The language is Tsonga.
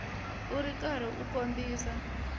u ri karhi u kombisa